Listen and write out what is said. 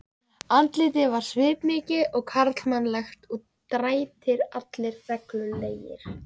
Andlitið var svipmikið og karlmannlegt og drættir allir reglulegir.